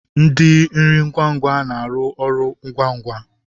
Ndi nri ngwa ngwa na aru ọrụ ngwa ngwa